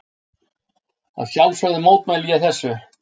Að sjálfsögðu mótmælti ég þessu.